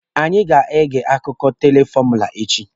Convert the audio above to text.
Anyi a ga-ege akụkọ teelụ fọmụla echi?